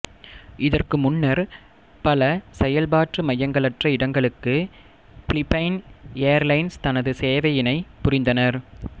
இதற்கு முன்னர் பல செயல்பாட்டு மையங்களற்ற இடங்களுக்கு பிலிப்பைன் ஏர்லைன்ஸ் தனது சேவையினை புரிந்தனர்